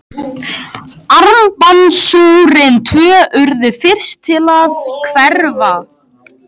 Armbandsúrin tvö urðu fyrst til að hverfa.